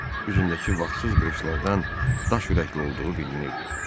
Üzündəki vaxtsız qırışlardan daş ürəkli olduğu bilinirdi.